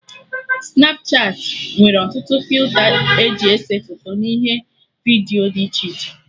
Snapchatị nwere ọtụtụ filta eji ese foto n'ihe vidiyo dị iche iche